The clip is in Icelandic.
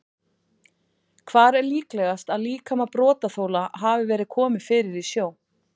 Hvar er líklegast að líkama brotaþola hafi verið komið fyrir í sjó?